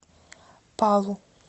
палу